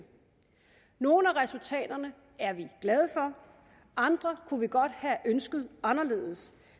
nogle af resultaterne er vi glade for andre kunne vi godt have ønsket anderledes